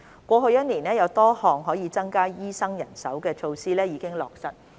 過去1年多，有多項可以增加醫生人手的措施已經落實。